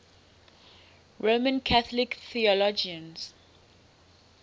roman catholic theologians